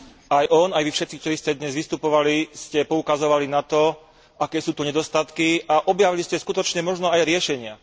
Aj on, aj vy všetci, ktorí ste dnes vystupovali, ste poukazovali na to, aké sú tu nedostatky a objavili ste skutočne možno aj riešenia.